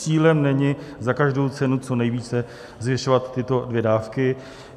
Cílem není za každou cenu co nejvíce zvyšovat tyto dvě dávky.